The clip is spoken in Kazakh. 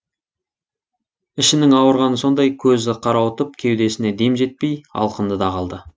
ішінің ауырғаны сондай көзі қарауытып кеудесіне дем жетпей алқынды да қалды